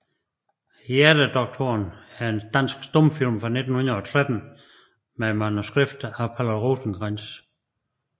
Hjertedoktoren er en dansk stumfilm fra 1913 med manuskript af Palle Rosenkrantz